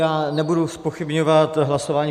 Já nebudu zpochybňovat hlasování.